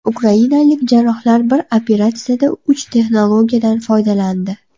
Ukrainalik jarrohlar bir operatsiyada uch texnologiyadan foydalandi.